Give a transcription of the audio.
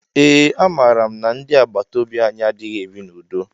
Ee a mara mụ na ndị agbataobi anyị adịghị ebi na udo.